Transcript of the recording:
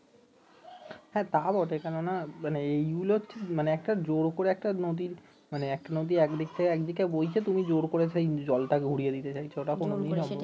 হ্যাঁ তা বটে কেননা এইগুলো মানে একটা জোর করে একটা নদী মানে এক নদী এক দিকে বইছে তুমি জোর করে সেই জলটাকে ঘুরিয়ে দিতে চাইছ ওটা কোন নিয়ম